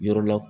Yɔrɔ la